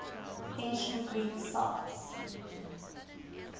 ancient greek sites